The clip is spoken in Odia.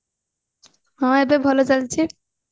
ହଁ ଏବେ ଭଲ ଚାଲିଛି